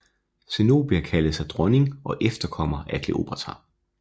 Zenobia kaldte sig dronning og efterkommer af Kleopatra